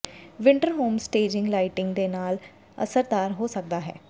winter home staging lighting ਦੇ ਨਾਲ ਅਸਰਦਾਰ ਹੋ ਸਕਦਾ ਹੈ